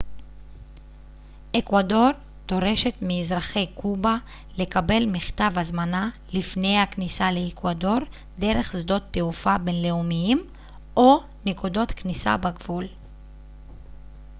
אקוודור דורשת מאזרחי קובה לקבל מכתב הזמנה לפני הכניסה לאקוודור דרך שדות תעופה בינלאומיים או נקודות כניסה בגבול